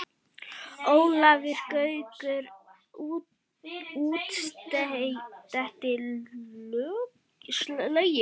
Ólafur Gaukur útsetti lögin.